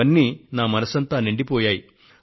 ఇవన్నీ నా మనస్సంతా నిండిపోయాయి